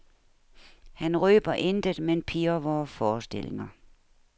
Han røber intet, men pirrer vore forestillinger.